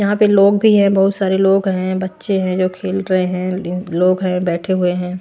यहां पे लोग भी हैं बहोत सारे लोग हैं बच्चे हैं जो खेल रहे हैं लोग हैं बैठे हुए है।